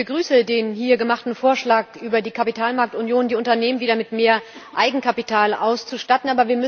Ich begrüße den hier gemachten Vorschlag über die Kapitalmarktunion, um die Unternehmen wieder mit mehr Eigenkapital auszustatten.